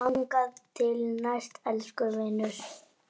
Þangað til næst, elsku vinur.